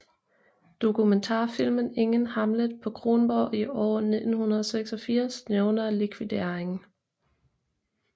Dokumentarfilmen Ingen Hamlet på Kronborg i år fra 1986 nævner likvideringen